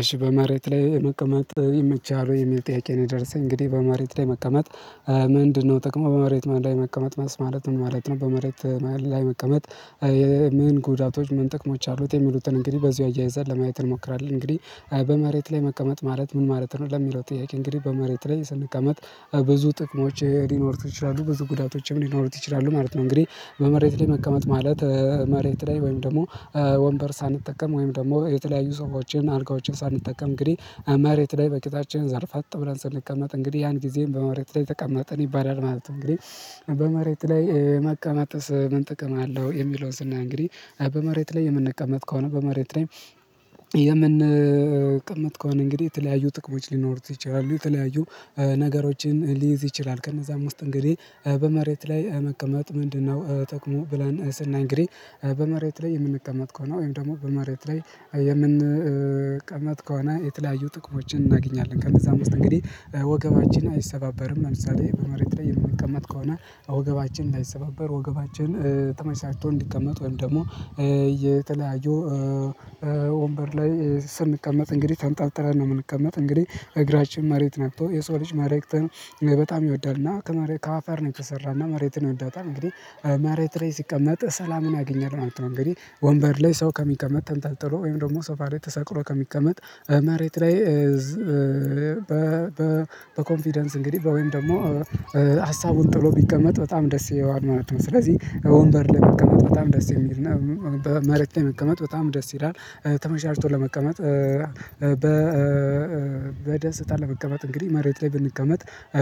እሺ በመሬት ላይ መቀመጥ ይመችሃል ውይ? የሚል ጥያቄ ነው የደረሰኝ እንግዲህ በመሬት ላይ መቀመጥ ምንድነው ጥቅሙ? በመሬት ማን ላይ መቀመጥ ማለት ምን ማለት ነው? በመሬት ላይ መቀመጥ ምን ጉዳቶች ምን ጥቅሞች አሉት? የሚሉትን እንግዲህ በዚሁ አያይዘን ለማየት እንሞክራለን። እንግዲህ አይ በመሬት ላይ መቀመጥ ማለት ምን ማለት ነው? ለሚለው ጥያቄ እንግዲህ በመሬት ላይ ስንቀመጥ ብዙ ጥቅሞች ሊኖሩት ይችላሉ፤ ብዙ ጉዳቶችም ሊኖሩት ይችላሉ ማለት ነው። እንግዲህ በመሬት ላይ መቀመጥ ማለት መሬት ላይ ወይም ደግሞ ወንበር ሳንጠቀም ወይም ደግሞ የተለያዩ ሶፋዎችን አልጋዎችን ሳንጠቀም እንግዲህ መሬት ላይ በቂጣችን ዘርፈጥ ብለን ስንቀመጥ እንግዲህ ያን ጊዜም በመሬት ላይ ተቀምጠን ይባላል ማለት ነው። እንግዲህ በመሬት ላይ መቀመጥስ ምን ጥቅም አለው? የሚለውን ስናይ እንግዲህ በመሬት ላይ የምንቀመጥ ከሆነ በመሬት ላይ የምንቀመጥ ከሆነ እንግዲህ የተለያዩ ጥቅሞች ሊኖሩት ይችላሉ። የተለያዩ ነገሮችን ሊይዝ ይችላል። ከነዛም ውስጥ እንግዲህ በመሬት ላይ መቀመጥ ምንድነው ጠቅሙ ብለን ስናይ እንግዲ በመሬት ላይ የምንቀመጥ ከሆነ ወይም ደግሞ በመሬት ላይ የምንቀመጥ ከሆነ የተለያዩ ጥቅሞችን እናገኛለን ከነዛም ውስጥ እንግዲህ ወገባችን አይሰባበርም። ለምሳሌ በመሬት ላይ የምንቀመጥ ከሆነ ወገባችን ላይሰባበር ወገባችን ተመቻችቶ እንዲቀመጥ ወይም ደግሞ የተለያዩ ወንበር ላይ ስንቀመጥ እንግዲህ ተንጠልጥለን ነው የምንቀመጥ። እንግዲህ እግራችን መሬት ነክቶ የሰው ልጅ መሬትን በጣም ይወዳል። እና ከመሬት ከአፈር ነው የተሰራና መሬትን ይወዳታል። እንግዲህ መሬት ላይ ሲቀመጥ ሰላምን ያገኛል ማለት ነው። እንግዲህ ወንበር ላይ ሰው ከሚቀመጥ ተንጠልጥሎ ወይም ደግሞ ሶፋሬ ተሰቅሎ ከሚቀመጥ መሬት ላይ በ በኮንፊደንስ እንግዲህ በወይም ደግሞ ሀሳቡን ጥሎ ቢቀመጥ በጣም ደስ ይለዋል ማለት ነው። ስለዚህ ወንበር ላይ መቀመጥ በጣም ደስ የሚል ነው። በመሬት ላይ መቀመጥ በጣም ደስ ይላል። ተመቻችቶ ለመቀመጥ በደስታ ለመቀመጥ እንግዲህ መሬት ላይ ብንቀመጥ